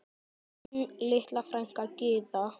Þín litla frænka Gyða.